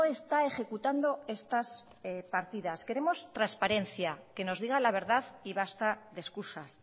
está ejecutando estas partidas queremos transparencia que nos diga la verdad y basta de excusas